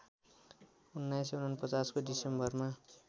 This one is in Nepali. १९४९ को डिसेम्बरमा